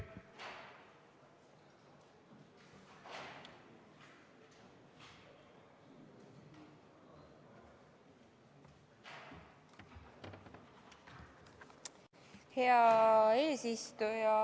Hea eesistuja!